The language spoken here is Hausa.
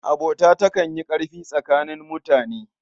Abota takan yi ƙarfi tsakanin mutane.